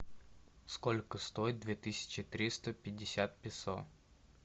сколько стоит две тысячи триста пятьдесят песо